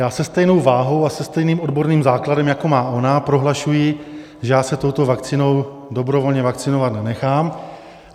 Já se stejnou váhou a se stejným odborným základem, jako má ona, prohlašuji, že já se touto vakcínou dobrovolně vakcinovat nenechám.